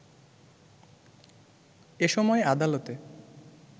এ সময় আদালতে